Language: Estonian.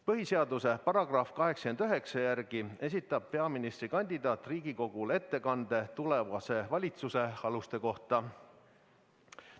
Põhiseaduse § 89 järgi esitab peaministrikandidaat Riigikogule ettekande tulevase valitsuse aluste kohta.